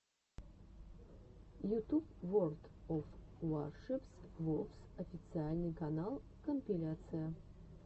ютуб ворлд оф варшипс вовс официальный канал компиляция